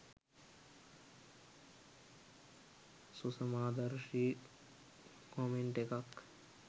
සුසමාදර්ශී comment එකක්